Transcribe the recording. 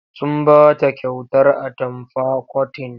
Sun ba ta kyautar atamfa kotin.